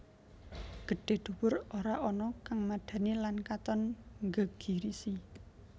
Gedhé dhuwur ora ana kang madhani lan katon nggegirisi